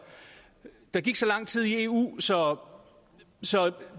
der gik så lang tid i eu så så